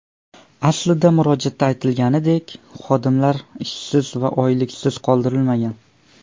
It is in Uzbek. Aslida murojaatda aytilganidek, xodimlar ishsiz va oyliksiz qoldirilmagan.